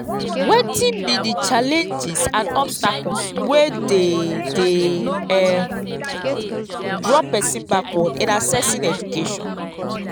wetin be di challenges and obstacles wey dey dey um draw pesin backward in accessing education?